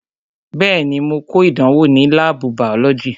Bẹẹni, mo ko ìdánwò ní láàbù bàọ́lọ́jì "